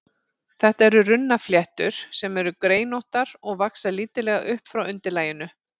Þetta eru runnfléttur, sem eru greinóttar og vaxa lítillega upp frá undirlaginu.